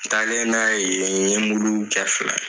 N talen n'a ye yen n ye kɛ fila ye.